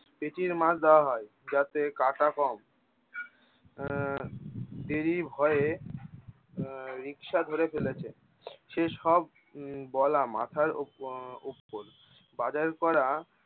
পেটির মাছ দেয়া হয় জাতে কাটা কম। আহ এরই ভয়ে আহ রিকশা ধরে চলেছে সেসব উম বলা মাথার উপ~ উপর বাজার করা-